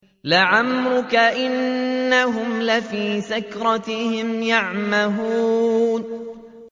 لَعَمْرُكَ إِنَّهُمْ لَفِي سَكْرَتِهِمْ يَعْمَهُونَ